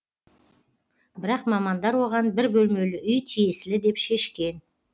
бірақ мамандар оған бір бөлмелі үй тиесілі деп шешкен